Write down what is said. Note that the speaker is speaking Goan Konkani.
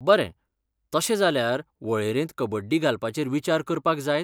बरें, तशें जाल्यार, वळेरेंत कबड्डी घालपाचेर विचार करपाक जायत?